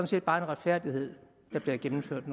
set bare en retfærdighed der bliver gennemført